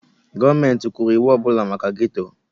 Gọọmenti kwuru iwu ọ bụla maka gétò